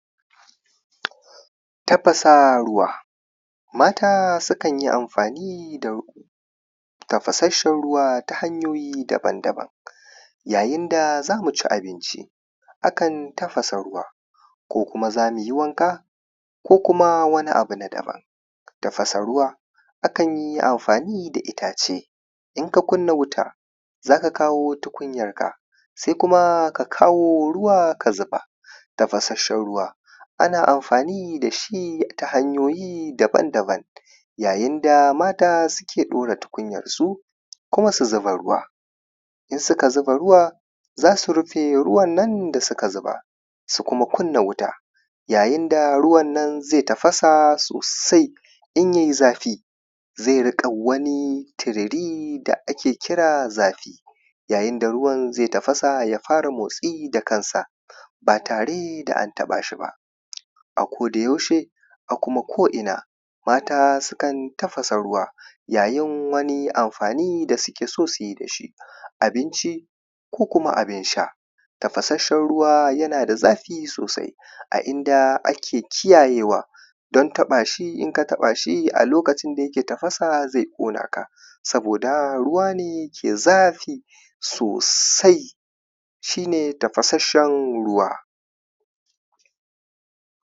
Tafasa ruwa mata sukan yi amfani da riƙo, tafasasshen ruwa ta hanyoyi daban-daban. Yayin da za mu ci abinci a kan tafasa ruwa, \ko kuma za mu yi wanka ko kuma wani abu na daban. Tafasa ruwa a kan yi amfani da itace, in ka kunna wuta za ka kawo tukunyarka, sai kuma ka kawo ruwa ka zuba. Tafasshn ruwa ana amfani da shi ta hanyoyi daban-daban, yayin da mata suke ɗaura tukunyarsu, kuma su zuba ruwa, in suka zuba ruwa za su rufe ruwannan da suka zuba, su kuma kuyayin da ruwan nan zai tafasa sosai in ya yi zafi zai dinga wani tururi da ake kira zafi. Yayin da ruwan zai tadasa ya fara motsi da kansa ba tare da an taɓa shi ba, a kodayaushe a kuma ko’ina mata sukan tafasa ruwa, yayin wani amfani da suke so su yi da shi, abinci ko kuma abin sha. Tafasaccen ruwa yana da zafi sosai, a inda ake kiyayewa don taɓa shi idan aka taɓa shi a lokacin da yake tafasa zai ƙona ka. Saboda ruwa ne da ke da zafi sosai, ahi ne, tafasasshen ruwa.